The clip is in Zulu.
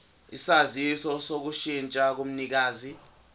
isaziso sokushintsha komnikazi